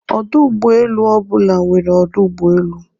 Ọdụ ụgbọ elu ọ bụla nwere ọdụ ụgbọ elu.